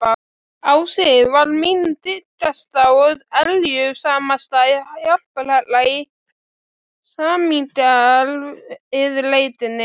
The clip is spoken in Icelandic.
unni, fyrir utan bókabúðina Pennann, við hliðina á minjagripa